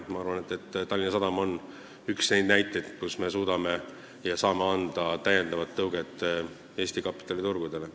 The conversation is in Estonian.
Ma arvan, et Tallinna Sadam on üks neid näiteid, mille puhul me suudame anda täiendava tõuke Eesti kapitaliturgudele.